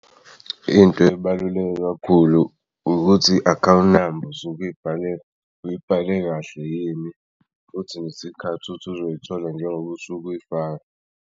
Into ebaluleke kakhulu ukuthi i-account number usuke uyibhale kahle yini futhi ngesikhathi uthi uzoyithola njengoba usuku'yifaka.